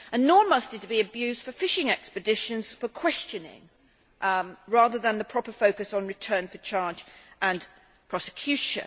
Nor must it be abused for fishing expeditions for questioning, rather than the proper focus on return for charge and prosecution.